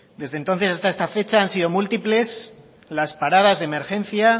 desde entonces hasta esta fecha han sido múltiples las paradas de emergencia